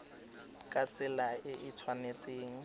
ka tsela e e tshwanetseng